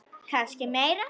Kannski meira.